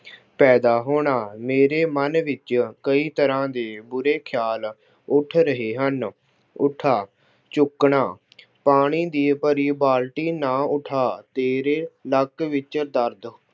ਪੈਦਾ ਹੋਣਾ- ਮੇਰੇ ਮਨ ਵਿੱਚ ਕਈ ਤਰ੍ਹਾਂ ਦੇ ਬੁਰੇ ਖਿਆਲ ਉੱਠ ਰਹੇ ਹਨ। ਉੱਠਾ- ਚੁੱਕਣਾ - ਪਾਣੀ ਦੀ ਭਰੀ ਬਾਲਟੀ ਨਾ ਉ੍ੱਠਾ। ਤੇਰੇ ਲੱਕ ਵਿੱਚ ਦਰਦ